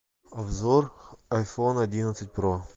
обзор айфон одиннадцать про